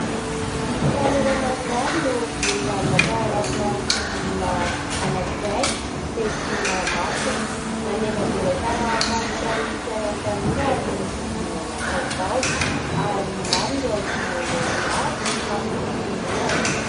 Tanora maromaro no vory lanona tao anatina fivoriana anankiray tetsy Mahamasina. Namelabelatra mahakasika ny fiainan'ny tanora ny fivoriana natao tao, ary maro ireo ankizy nandray anjara tamin'ny fitenenana.